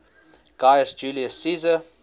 gaius julius caesar